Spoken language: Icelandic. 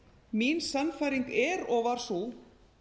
mín sannfæring er og var sú